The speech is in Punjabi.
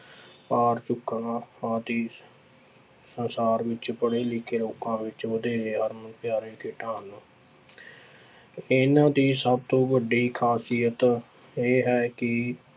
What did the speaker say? ਭਾਰ ਚੁੱਕਣਾ ਆਦਿ ਸੰਸਾਰ ਵਿੱਚ ਪੜ੍ਹੇ ਲਿਖੇ ਲੋਕਾਂ ਵਿੱਚ ਵਧੇਰੇ ਹਰਮਪਿਆਰੀ ਖੇਡਾਂ ਹਨ ਇਹਨਾਂ ਦੀ ਸਭ ਤੋਂ ਵੱਡੀ ਖਾਸੀਅਤ ਇਹ ਹੈ ਕਿ